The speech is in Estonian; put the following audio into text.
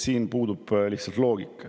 Siin puudub lihtsalt loogika.